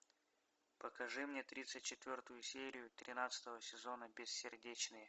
покажи мне тридцать четвертую серию тринадцатого сезона бессердечные